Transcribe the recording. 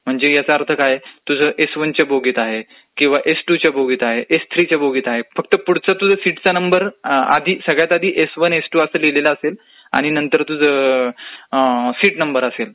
म्हणजे याचा अर्थ काय तुझ एस वनच्या बोगीत आहे किंवा एस टू च्या बोगीत आहे, एस थ्री च्या बोगीत आहे. पुढचा तुझा सिटचा नंबर सगळ्यात आधी S one, S two, S three फक्त लिहिलेलं असेल आणि नंतर तुझं सीट नंबर असेल,